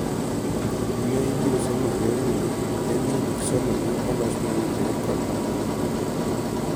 Gima ibiro somo eyorni en ni gik somogi olos mowinjore kod nyithindo.